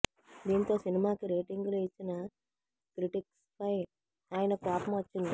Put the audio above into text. దీంతో సినిమాకి రేటింగ్ లు ఇచ్చిన క్రిటిక్స్ పై ఆయనకు కోపం వచ్చింది